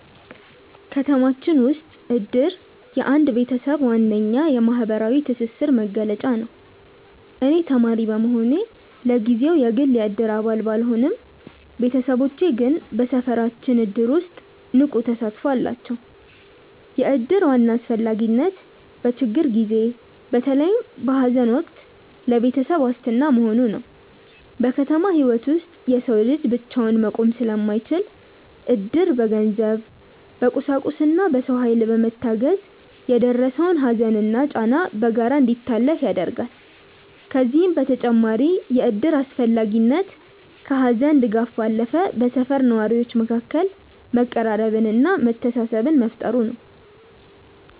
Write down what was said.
ከተማችን ውስጥ እድር የአንድ ቤተሰብ ዋነኛ የማህበራዊ ትስስር መገለጫ ነው። እኔ ተማሪ በመሆኔ ለጊዜው የግል የእድር አባል ባልሆንም፣ ቤተሰቦቼ ግን በሰፈራችን እድር ውስጥ ንቁ ተሳትፎ አላቸው። የእድር ዋና አስፈላጊነት በችግር ጊዜ፣ በተለይም በሐዘን ወቅት ለቤተሰብ ዋስትና መሆኑ ነው። በከተማ ህይወት ውስጥ የሰው ልጅ ብቻውን መቆም ስለማይችል፣ እድር በገንዘብ፣ በቁሳቁስና በሰው ኃይል በመታገዝ የደረሰውን ሐዘንና ጫና በጋራ እንዲታለፍ ያደርጋል። ከዚህም በተጨማሪ የእድር አስፈላጊነት ከሐዘን ድጋፍ ባለፈ በሰፈር ነዋሪዎች መካከል መቀራረብንና መተሳሰብን መፍጠሩ ነው።